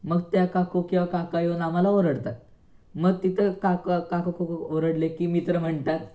मग त्या काकू किंवा काका येऊन आम्हाला ओरडतात, मग तिथं काका काकू ओरडले की मित्र म्हणतात,